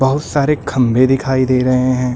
बहुत सारे खंभे दिखाई दे रहे हैं।